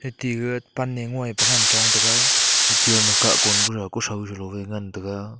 atte gaga pan ne ngoi pa ngan chong taga heche ama kah kon kudau kuthau chalo e ngan taga.